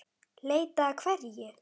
Leita að hverju?